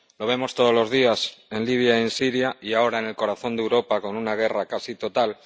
Lo vemos todos los días en Libia y en Siria, y ahora en el corazón de Europa, con una guerra casi total.